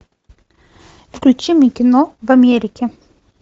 включи мне кино в америке